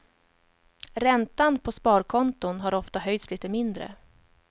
Räntan på sparkonton har ofta höjts lite mindre.